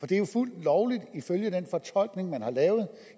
det er jo fuldt lovligt ifølge den fortolkning man har lavet